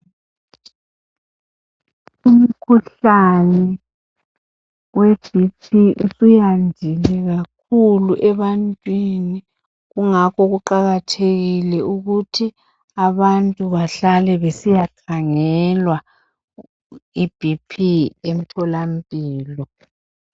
Umkhuhlane we bp usuyandile kakhulu ebantwini kungakho kuqakathekile ukuthi abantu bahlale besiyakhangelwa ibp emtholampilo.